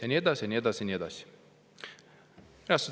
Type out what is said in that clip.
Ja nii edasi ja nii edasi ja nii edasi.